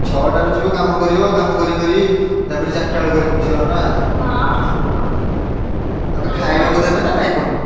ଛଅଟାରୁ ଯିବ କାମ କରିବ କାମ କରି କରି ତାପରେ ଚାରିଟା ବେଳକୁ ଆସିବ ନା। ଖାଇବାକୁ ଦେବେ ନା ନାଇଁ ପୁଣି?